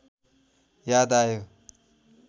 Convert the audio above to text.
याद आयो